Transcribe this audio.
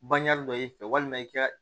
Bange dɔ i fɛ walima i ka